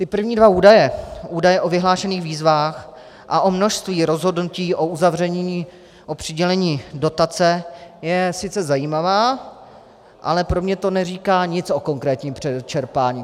Ty první dva údaje, údaje o vyhlášených výzvách a o množství rozhodnutí o uzavření o přidělení dotace, je sice zajímavá, ale pro mě to neříká nic o konkrétním čerpání.